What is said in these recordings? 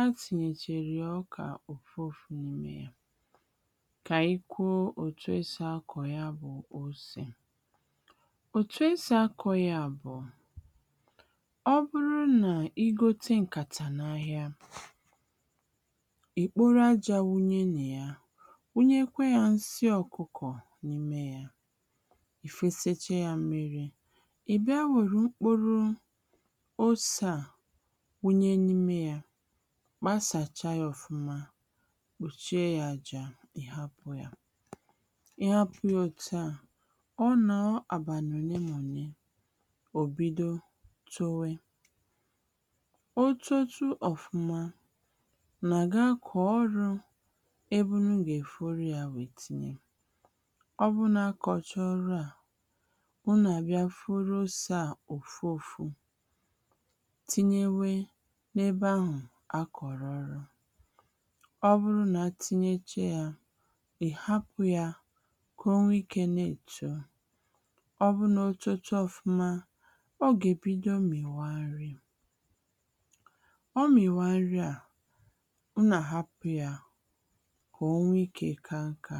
a tìnyèchàrà ọkà òfu òfu n’imė ya. Kà ànyị kwụọ òtù e sì akọ ya bụ osè. Etù e sì akọ ya bụ; ọ bụrụ nà i gote ǹkàtà n’ahịa, ì kporo ajȧ wunye nà ya, wunye kwa yȧ nsị ọkụkọ n’ime yȧ, ì fesetu ya mmiri, ì bịa wèrè mkporo osè à wunye n’ime yȧ, kpasàcha yȧ ọfụma, kpùchie ya ajȧ ị hapụ ya. Ị hapụ yȧ òtu à, ọ nọọ àbàni ole nà òle, ọ bido tuwe. Ọ totu ọfụma, nà-gi akọ ọrụ ebe i gà-èforo yȧ nwèe tinye. Ọ bụrụ nà-akọchọ ọrụ à, muna gi aforo osè à òfu ȯfu tinye nwė n’ebe ahụ akọrọ ọrụ. Ọ bụrụ nà a tinyecha yȧ, è hapụ yȧ kà o nwe ikė na-èto. Ọ bụrụ nà oto chaa ọfuma, ọ gà-èbido mmịwa nri. Ọ mmịwa nri a, ụnu àhapụ ya kà o nwee ikè ka nka.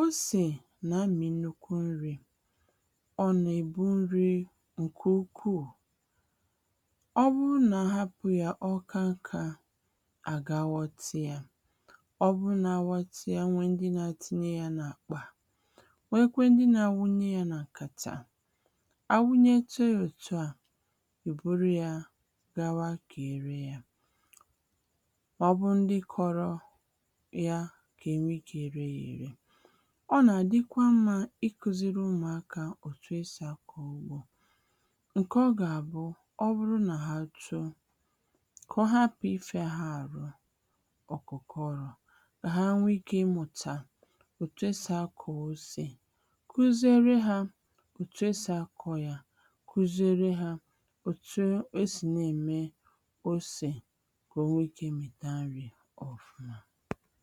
Osè nà-amị nukwu nri, ọ nà-èbu nri ǹkè ukwuù. Ọ bụrụ nà ahapụ ya ọ ka nkȧ àgawọtị ya. Ọ bụrụ nà awaṭị ya, ọ nwe ndị na-etinye ya nà àkpà, nwekwe ndị nà-àwunye ya nà-nkàtà. Àwunye chọọ òtù a, ebụrụ ya gawa kà ere ya. Ọ bu ndi kọrọ yà kà enwe ike ree yȧ ere. Ọ nà-àdịkwa mmȧ ikuziri ụmụakȧ òtù esì akọ ugbȯ, ǹkè ọ gà-àbụ ọ bụrụ nà ha too kà ọ hapụ ifia ha àrụ. ọkụkụ ọrụ ha nwee ikė ịmụta òtù esì akọ ose kụziere hȧ òtù esì akọ yȧ, kuziere hȧ òtu e sì na-ème osè ka ọ nwèe ike i mita nri ofuma.